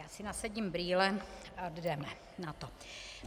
Já si nasadím brýle a jdeme na to.